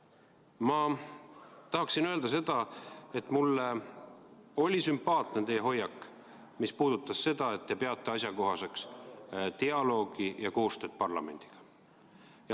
Ma tahan öelda seda, et mulle oli sümpaatne teie hoiak, mis puudutas seda, et te peate asjakohaseks dialoogi ja koostööd parlamendiga.